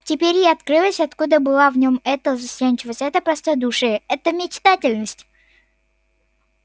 теперь ей открылось откуда была в нем эта застенчивость это простодушие эта мечтательность